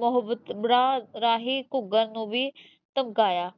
ਮੁਹੱਬਤਰਾਂ ਰਾਹੀਂ ਘੂਗਰ ਨੂੰ ਵੀ ਧਮਕਾਇਆ